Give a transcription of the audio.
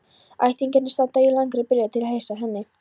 Ættingjarnir standa í langri biðröð til að heilsa henni.